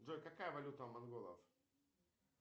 джой какая валюта у монголов